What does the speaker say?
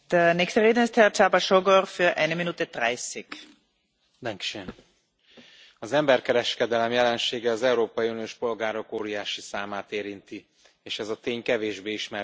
Elnök asszony! Az emberkereskedelem jelensége az európai uniós polgárok óriási számát érinti, és ez a tény kevésbé ismert az európai közvélemény előtt.